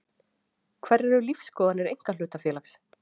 Hverjar eru lífsskoðanir einkahlutafélags?